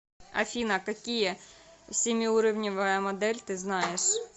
афина какие семиуровневая модель ты знаешь